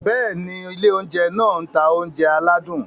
Bẹ́ẹ̀ni, ilé oúnjẹ náà ń ta oúnjẹ aládùn.